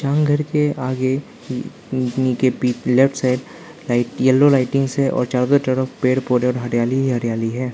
घर के आगे इन इनके पी लेफ्ट साइड येल्लो लाइटिंग्स है और चारों तरफ पेड़ पौधे और हरियाली ही हरियाली है।